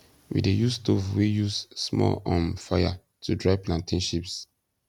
we dey use stove wey use small um fire to dry plantain chips